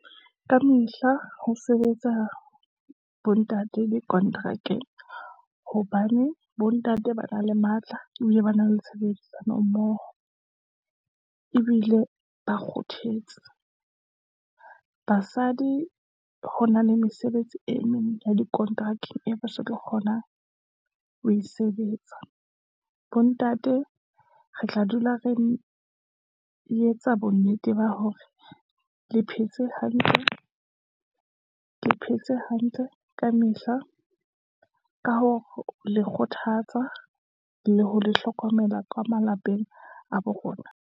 Kamehla ho sebetsa bo ntate di-contract-eng, hobane bo ntate ba na le matla, o ye ba na le tshebedisano mmoho, ebile ba kgothetse. Basadi ho na le mesebetsi e meng ya dikonterakeng, e be so tlo kgonang ho e sebetsa. Bo ntate re tla dula re etsa bo nnete ba hore le phetse hantle ka mehla, ka ho le kgothatsa le ho le hlokomela ka malapeng a bo rona.